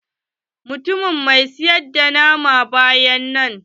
Mutumin mai siyar da nama baya nan.